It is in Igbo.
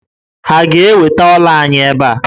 Ha ga-eweta ọ́là anyị ebe a?